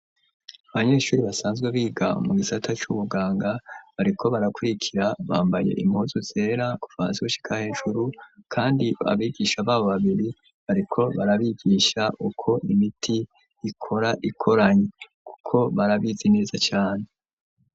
Abanyeshuri basanzwe biga mu gisata c'ubuganga, ariko barakurikira bambaye imozu zera kufansekushika hejuru, kandi abigisha babo babiri, ariko barabigisha uko imiti ikora ikoranyi, kuko barabizi neza cane.